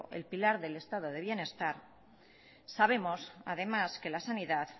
el pilar del estado de bienestar sabemos además que la sanidad